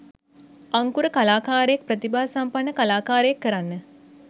අංකුර කලාකාරයෙක් ප්‍රතිභා සම්පන්න කලාකාරයෙක් කරන්න